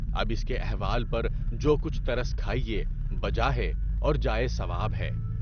اب اِس کے احوال پر جو کچھ ترس کھائیے، بجا ہے اور جائے ثواب ہے۔